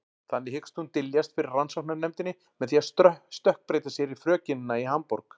Þannig hyggst hún dyljast fyrir rannsóknarnefndinni með því að stökkbreyta sér í frökenina í Hamborg.